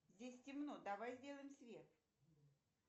здесь темно давай сделаем свет